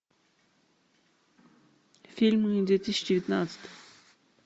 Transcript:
фильмы две тысячи девятнадцать